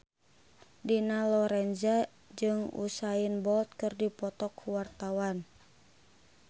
Dina Lorenza jeung Usain Bolt keur dipoto ku wartawan